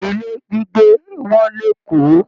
Ilé gbígbé wọ́n l'Eko.